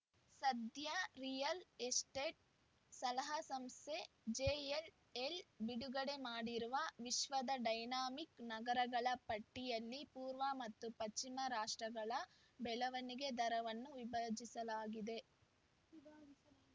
ಸದ್ಯ real estate ಸಲಹಾ ಸಂಸ್ಥೆ ಜೆಎಲ್‌ಎಲ್‌ ಬಿಡುಗಡೆ ಮಾಡಿರುವ ವಿಶ್ವದ ಡೈನಾಮಿಕ್‌ ನಗರಗಳ ಪಟ್ಟಿಯಲ್ಲಿ ಪೂರ್ವ ಮತ್ತು ಪಶ್ಚಿಮ ರಾಷ್ಟ್ರಗಳ ಬೆಳವಣಿಗೆ ದರವನ್ನು ವಿಭಾಜಿಸಲಾಗಿದೆ